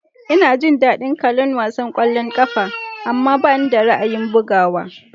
Ina jin daɗin kallon wasan ƙwallon ƙafa, amma bani da ra'ayin bugawa.